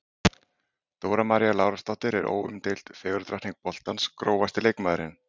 Dóra María Lárusdóttir er óumdeild fegurðardrottning boltans Grófasti leikmaðurinn?